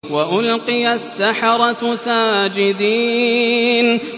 وَأُلْقِيَ السَّحَرَةُ سَاجِدِينَ